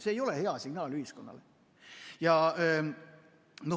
See ei ole hea signaal ühiskonnale.